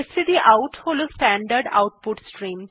stdout হল standard output stream